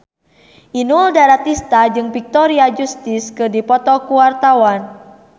Inul Daratista jeung Victoria Justice keur dipoto ku wartawan